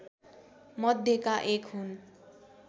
मध्येका एक हुन्